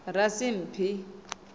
rasimphi